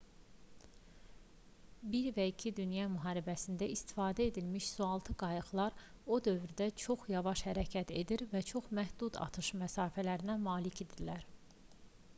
i və ii dünya müharibəsində istifadə edilmiş sualtı qayıqlar o dövrdə çox yavaş hərəkət edir və çox məhdud atış məsafəsinə malik idilər